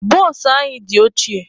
Bụsụ anyị dị ochie.